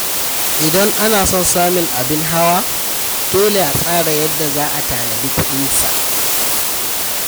Idan ana son samun abin hawa, dole a tsara yadda za a tanadi kuɗin sa.